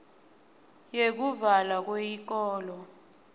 yekuvalwa kweyikolo